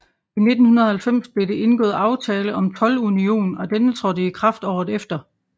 I 1990 blev det indgået aftale om toldunion og denne trådte i kraft året efter